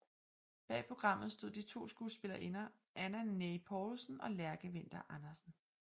Bag programmet stod de to skuespillerinder Anna Neye Poulsen og Lærke Winther Andersen